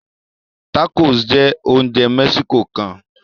Tacos jẹ oúnjẹ Mexico kán